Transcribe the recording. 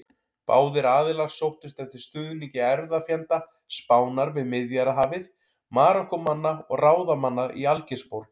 Báðir aðilar sóttust eftir stuðningi erfðafjenda Spánar við Miðjarðarhafið: Marokkómanna og ráðamanna í Algeirsborg.